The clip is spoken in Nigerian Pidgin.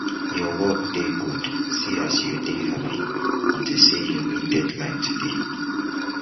your work dey good see as you dey happy unto say you meet deadline today